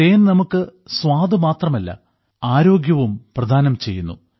തേൻ നമുക്ക് സ്വാദ് മാത്രമല്ല ആരോഗ്യവും പ്രദാനം ചെയ്യുന്നു